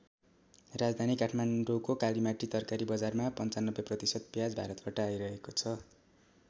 राजधानी काठमाडौँको कालिमाटी तरकारी बजारमा ९५ प्रतिशत प्याज भारतबाट आइरहेको छ।